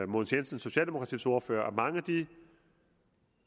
mogens jensen socialdemokratiets ordfører at mange af de